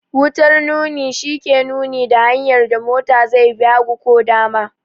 Wutar nuni shi ke nuni da hanyar da mota zai bi, hagu ko dama.